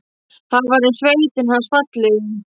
Það var um sveitina hans fallegu.